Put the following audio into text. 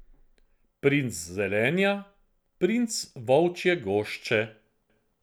Princ zelenja, princ volčje gošče.